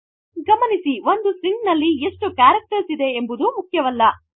ಗಮನಿಸಿ ಒಂದು ಸ್ಟ್ರಿಂಗ್ ನಲ್ಲಿ ಎಷ್ಟು ಕ್ಯಾರಕ್ಟರ್ಸ್ ಇದೆ ಎಂಬುದು ಮುಖ್ಯವಲ್ಲ